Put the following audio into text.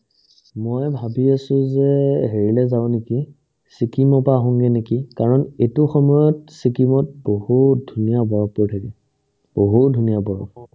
মই ভাৱি আছো যে হেৰিলৈ যাওঁ নেকি ছিকিমৰ পৰা আহোংগে নেকি কাৰণ এইটো সময়ত ছিকিমত বহুত ধুনীয়া বৰফ পৰি থাকে বহুত ধুনীয়া বৰফ